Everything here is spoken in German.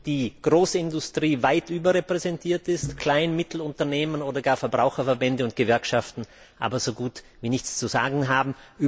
die Großindustrie weit überrepräsentiert ist und kleine und mittlere Unternehmen oder gar Verbraucherverbände und Gewerkschaften so gut wie nichts zu sagen haben.